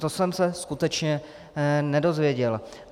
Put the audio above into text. To jsem se skutečně nedozvěděl.